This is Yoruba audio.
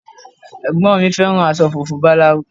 Ẹ̀gbọ́n mi fẹ́ràn aṣọ funfun báláú